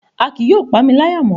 A kii yóò pamilaya mo